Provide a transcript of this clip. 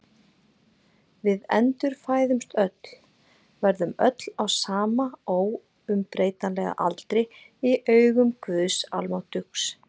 Við endurfæðumst öll, verðum öll á sama óumbreytanlega aldri í augum Guðs almáttugs.